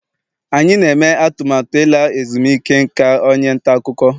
anyị na-eme atụmatụ ịla ezumike nka onye nta akụkọ